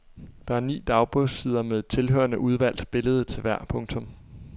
Der er ni dagbogssider med et tilhørende udvalgt billede til hver. punktum